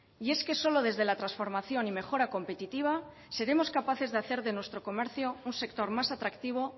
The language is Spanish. y es que solo desde la transformación y mejora competitiva seremos capaces de hacer de nuestro comercio un sector más atractivo